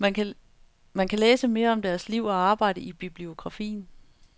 Man kan læse mere om deres liv og arbejde i bibliografien.